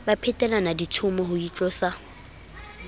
ba phetelana ditshomo ho itlosa